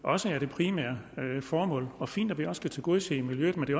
også er det primære formål og fint at vi også kan tilgodese miljøet men det